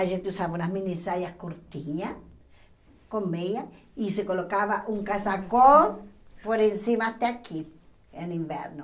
A gente usava umas mini saias curtinhas, com meia, e se colocava um casacão por em cima até aqui, no inverno.